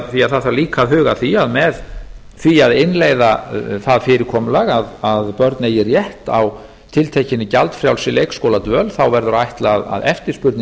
því að það þarf líka að huga að því að með því að innleiða það fyrirkomulag að börn eigi rétt á tiltekinni gjaldfrjálsri leikskóladvöl verður að ætla að eftirspurnin